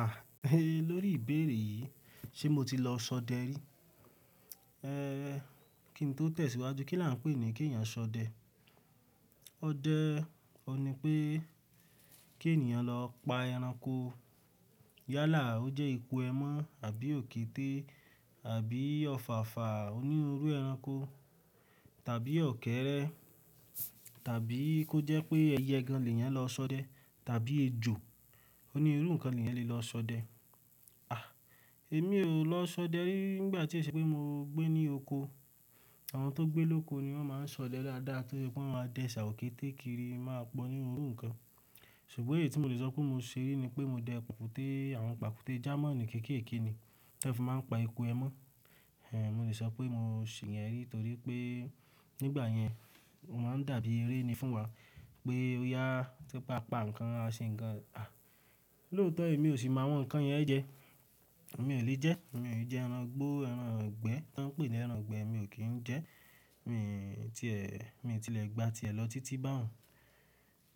À, lórí ìbéèrè yìí, ṣe mo ti lọ ṣọdẹ rí? Ehn, kí ni tó tẹ̀síwájú, kí là ń pè é ní kí ènìyàn ṣọdẹ? Ó dẹ́ ọ ní pé kí ènìyàn lọ pa ẹranko yálà, ó jẹ́ ipò ẹmọ́ àbí òkété, àbí òfàfà onírú ẹranko tàbí ọ̀kẹ́rẹ́ tàbí kó jẹ́ pé ẹyẹ gan-an lè yàn lọ ṣọdẹ tàbí ejò onírú ǹkan lè yàn lọ ṣọdẹ. À, èmi ò lọ ṣọdẹ rí nígbà tí ó ṣe pé mo gbé ní oko. Àwọn tó gbé lóko ni wọ́n máa ń ṣọdẹ dáadáa torí pé wọ́n máa dẹ ṣà òkété kiri máa pọ̀ ní orú ǹkan. Ṣùgbọ́n èyí tí mo lè sọ pé mo ṣe rí ni pé mo jẹ pàkúté, àwọn pàkúté German kéékèèké ni wọ́n fi máa ń pa ipò ẹmọ́. Ehn, mo lè sọ pé mo ṣe ìyẹn rí torí pé nígbà yẹn, ó máa ń dàbí eré ni fún wa pé ó yá tó pa pa ǹkan, a ṣe ǹkan. À, lóòótọ́ èmi ò sì máa wọ̀n ǹkan yẹn jẹ. Èmi ò lè jẹ ẹ́, èmi ò lè jẹ ẹran gbó, ẹran ìgbẹ́, tán pè ní ẹran ìgbẹ́, èmi ò kí ń jẹ ẹ́. Mi ti ẹ̀, mi ti lè gba tiẹ̀ lọ títí bá òun.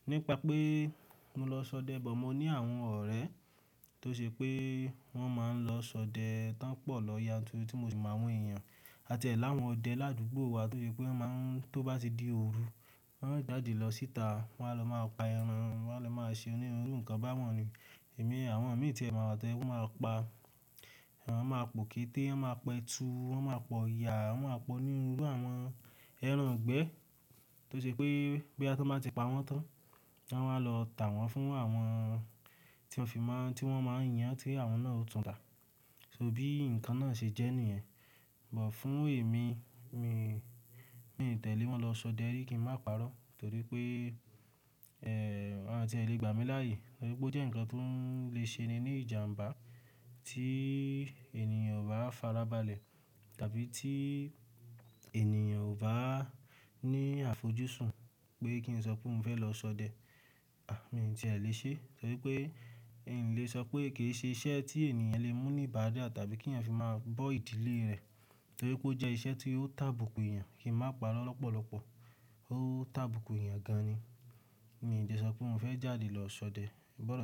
Nípa pé mo lọ ṣọdẹ bọ̀, mo ní àwọn ọ̀rẹ́ tó ṣe pé wọ́n máa ń lọ ṣọdẹ tán pọ̀ lọ ya torí tí mo sì máa wọ́n èèyàn. A ti ẹ̀ láwọn ọdẹ ládùúgbò wa torí pé wọ́n máa ń tó bá ti dé ooru, wọ́n á jáde lọ síta, wọ́n á lọ máa pa ẹran, wọ́n á lọ máa ṣe onírú ǹkan bá wọ́n ni. Èmi, àwọn mi tí è máa wà tóje pé wọ́n máa pa, wọ́n máa pò kété, wọ́n máa pẹtu, wọ́n máa pọ̀ òyà, wọ́n máa pọ̀ ní irú àwọn ẹran ìgbẹ́ tó ṣe pé boyà tan bá ti pa wọ́n tán, a máa lọ tà wọ́n fún àwọn tí wọ́n fi máa, tí wọ́n máa ń yan tí àwọn náà ó tún tà. So bí ǹkan náà ṣe jẹ́ nìyẹn. Bọ̀ fún èmi, mi, mi tẹ̀lé wọn lọ ṣọdẹ rí kí ń má parọ́ torí pé, ehn, wọ́n ti è lè gbà mí láàyè torí pé ó jẹ́ ǹkan tó ń lè ṣe ni ní ìjàǹbá tí ènìyàn o bá farabalẹ̀ tàbí tí ènìyàn ò bá ní àfojúsùn pé kí n sọ pé mò fẹ́ lọ ṣọdẹ. À, mi ò tí è lè ṣe torí pé èmi lè sọ pé kì í ṣe iṣẹ́ tí ènìyàn lè mú ní ìbádá tàbí kí èyàn fi máa bọ́ ìdílé rẹ̀ torí pé ó jẹ́ iṣẹ́ tí yóò tàbùkù èèyàn kí ń má parọ́ lọ́pọ̀lọpọ̀. Ó tàbùkù èèyàn gan-an ni. Nìyẹn jẹ sọ pé n ò fẹ́ jáde lọ ṣọdẹ. Ìbọ́rọ̀ sí i.